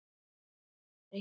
Ég hef verið hérna síðan.